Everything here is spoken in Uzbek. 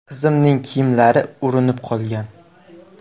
Qizimning kiyimlari urinib qolgan.